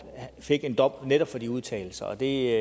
han fik en dom netop de udtalelser det